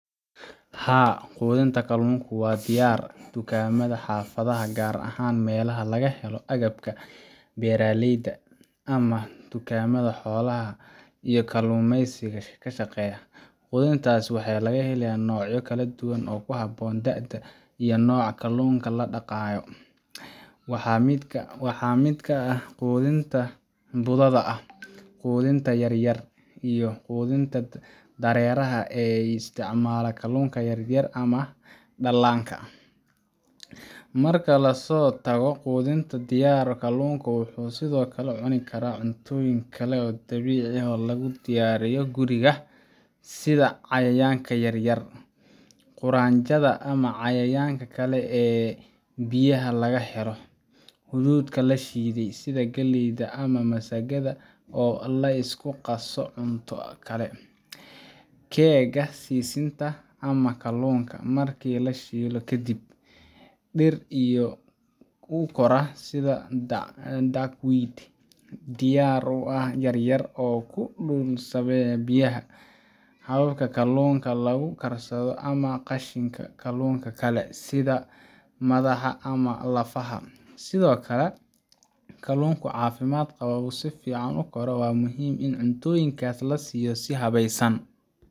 Haa, quudinta kalluunka waa diyaar dukaamada xaafadaha, gaar ahaan meelaha laga helo agabka beeralayda ama dukaamada xoolaha iyo kalluumeysiga ku shaqeeya. Quudintaas waxaa laga heli karaa noocyo kala duwan oo ku habboon da'da iyo nooca kalluunka la dhaqanayo. Waxaa ka mid ah quudinta budada ah, quudinta yar yar iyo quudinta dareeraha ah ee loo isticmaalo kalluunka yar-yar ama dhallaanka. Marka laga soo tago quudinta diyaarsan, kalluunka wuxuu sidoo kale cuni karaa cuntooyin kale oo dabiici ah ama lagu diyaariyo guriga sida: Cayayaan yaryar sida duqsiyada, quraanjada ama cayayaanka kale ee biyaha laga helo. Hadhuudh la shiiday sida galley ama masagada oo la isku qaso cunto kale. Keega sisinta ama kalluunka kale markii la shiido kadib Dhir biyo ku kora sida duckweed dhir yaryar oo ku dul sabbeysa biyaha. Xabkaha kalluunka lagu karsado ama qashinka kalluunka kale sida madaxa ama lafaha Si loo helo kalluun caafimaad qaba oo si fiican u kora, waa muhiim in cuntooyinkaas la siiyo si habaysan,